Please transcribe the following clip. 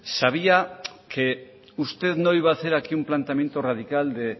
sabía que usted no iba a hacer aquí un planteamiento radical de